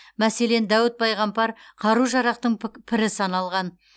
мәселен дәуіт пайғамбар қару жарақтың пірі саналған